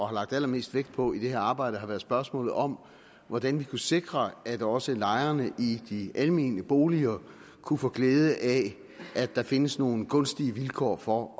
har lagt allermest vægt på i det her arbejde har været spørgsmålet om hvordan vi kunne sikre at også lejerne i de almene boliger kunne få glæde af at der findes nogle gunstige vilkår for